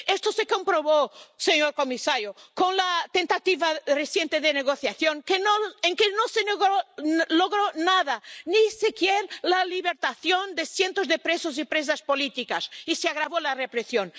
Esto se comprobó, señor comisario, con la tentativa reciente de negociación, que no logró nada, ni siquiera la liberación de cientos de presos y presas políticas, y se agravó la represión.